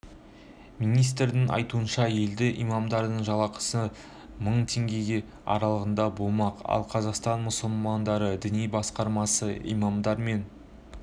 министрдің айтуынша енді имамдардың жалақысы мың теңге аралығында болмақ ал қазақстан мұсылмандары діни басқармасы имамдар мен